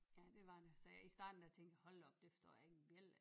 Ja det var det så jeg i starten der tænkte hold da op det fostår jeg ikke en bjælde af